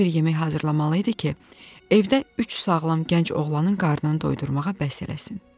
Elə bir yemək hazırlamalı idi ki, evdə üç sağlam gənc oğlanın qarnını doyurmağa bəs eləsin.